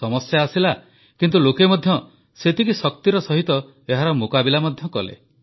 ସମସ୍ୟା ଆସିଲା କିନ୍ତୁ ଲୋକେ ମଧ୍ୟ ସେତିକି ଶକ୍ତିର ସହିତ ଏହାର ମୁକାବିଲା ମଧ୍ୟ କଲେ